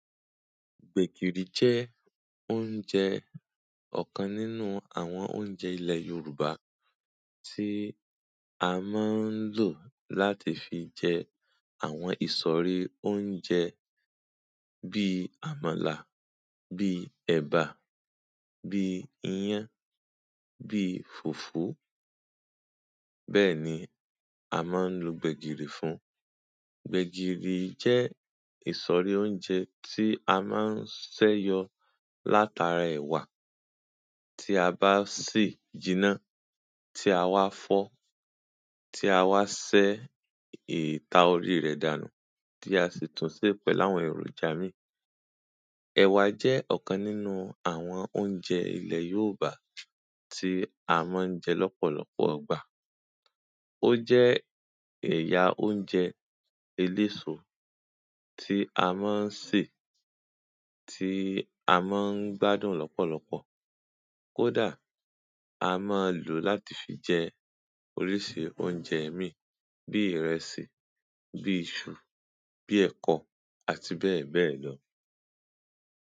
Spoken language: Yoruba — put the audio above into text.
Gbẹ̀gìrì jẹ́ oúnjẹ ọ̀kan nínú àwọn oúnjẹ ilẹ̀ Yorùbá tí a máa ń lò láti fi jẹ àwọn ìsọ̀rí oúnjẹ. Bí àmàlà, bí ẹ̀bà, bí ìyán, bí fùfù. Bẹ́ẹ̀ ni a máa ń lò gbẹ̀gìrì fún. Gbẹ̀gìrì jẹ́ ìsọ̀rí oúnjẹ tí a máa ń ṣe yọ látara ẹ̀wà tí a bá sè jiná, tí a wá fọ́, tí a wá yọ ìta orí rẹ̀ dànù, tí a sì tún ṣe pẹ̀lú àwọn èròjà míì. Ẹ̀wà jẹ́ ọ̀kan nínú àwọn oúnjẹ ilẹ̀ Yorùbá tí a máa ń jẹ lọ́pọ̀lọpọ̀ ọgbà. Ó jẹ́ ẹ̀yà oúnjẹ eléso tí a máa ń sè, tí a máa ń gbádùn lọ́pọ̀lọpọ̀. Kò dáa, a máa ń lò ó láti fi jẹ oríṣiríṣi oúnjẹ mìíràn, bí ìrẹsì, bí iṣu, bí ẹ̀kọ́, àti bẹ́ẹ̀ bẹ́ẹ̀ lọ.